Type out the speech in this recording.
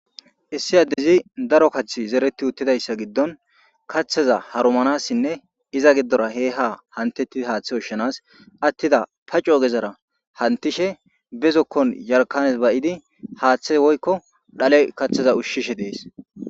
issi addezi daro kath zereti uttidayssa giddon kaththaza harumanassinne iza giddora he ha hantetti haaththe ushshanas attida pa co gezara hantishe be zokkon yarkanes bay7idi haaththe woykko dhale kaththeza ushshishe dees